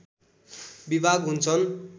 विभाग हुन्छन्